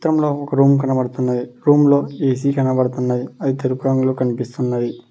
ఇక్కడ ఒక రూమ్ కనబడుతున్నది రూమ్లో ఏ_సీ కనపడుతున్నాయి అది తెలుపు రంగులో కనిపిస్తున్నది.